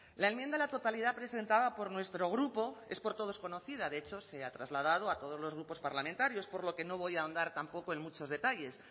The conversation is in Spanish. la enmienda a la totalidad presentada por nuestro grupo es por todos conocida de hecho se ha trasladado a todos los grupos parlamentarios por lo que no voy a ahondar tampoco en muchos detalles